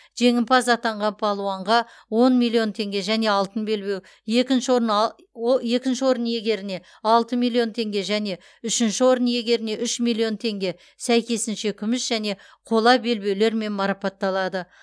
жеңімпаз атанған балуанға он миллион теңге және алтын белбеу екінші орын а о екінші орын иегеріне алты миллион теңге және үшінші орын иегеріне үш миллион теңге сәйкесінше күміс және қола белбеулермен марапатталады